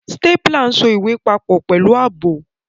Stapler so ìwé papọ̀ pẹ̀lú ààbò.